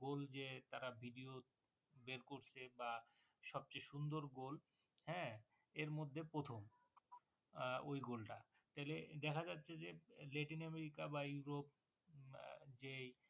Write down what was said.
goal যে তারা video বের করছে বা সবচে সুন্দর goal হ্যাঁ এর মধ্যে প্রথম আহ ওই goal টা তাহলে দেখা যাচ্ছে যে ল্যাটিন আমেরিকা বা ইউরোপ যে